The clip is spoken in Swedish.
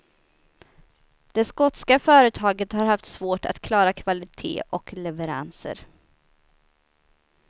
Det skotska företaget har haft svårt att klara kvalitet och leveranser.